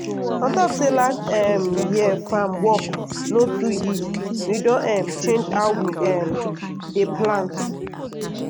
on top say last um year farm work no too yield we don um change how we um dey plant.